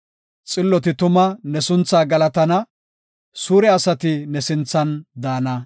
Xilloti tuma ne sunthaa galatana; suure asati ne sinthan daana.